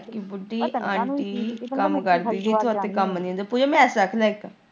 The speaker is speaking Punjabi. ਕੰਮ ਨਹੀਂ ਪੂਜਾ ਮੈਂਸ ਚੱਕ ਲਿਆ ਇੱਕ।